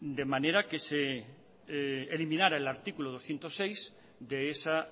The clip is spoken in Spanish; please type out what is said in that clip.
de manera que se eliminara el artículo doscientos seis de esa